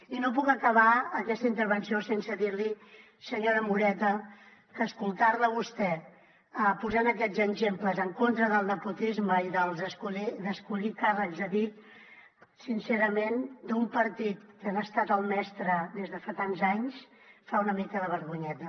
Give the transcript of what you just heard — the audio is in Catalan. i no puc acabar aquesta intervenció sense dir li senyora moreta que escoltar la a vostè posant aquests exemples en contra del nepotisme i d’escollir càrrecs a dit sincerament d’un partit que n’ha estat el mestre des de fa tants anys fa una mica de vergonyeta